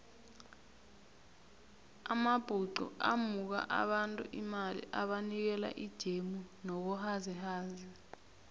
amabhuxu amuka abantu imali abanikela ijemu nobuhazikhazi